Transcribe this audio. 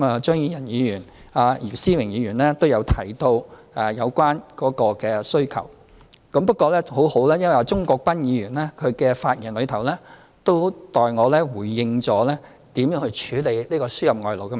張宇人議員和姚思榮議員均提到有關勞工的需求，不過幸好鍾國斌議員的發言已代我回應了如何處理這個輸入外勞的問題。